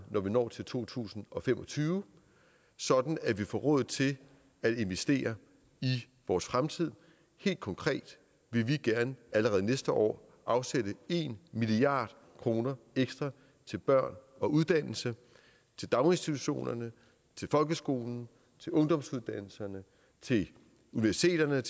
når vi når til to tusind og fem og tyve sådan at vi får råd til at investere i vores fremtid helt konkret vil vi gerne allerede næste år afsætte en milliard kroner ekstra til børn og uddannelse til daginstitutionerne til folkeskolen til ungdomsuddannelserne til universiteterne